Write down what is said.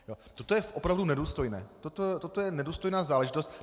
Toto je opravdu nedůstojné, toto je nedůstojná záležitost.